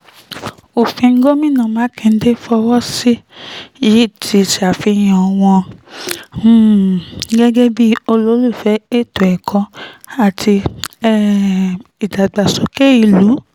òfin tí gómìnà mákindè fọwọ́ sí yìí ti ṣàfihàn wọn um gẹ́gẹ́ bíi olùfẹ́ ètò ẹ̀kọ́ àti um ìdàgbàsókè ìlú